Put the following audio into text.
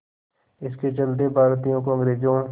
इसके चलते भारतीयों को अंग्रेज़ों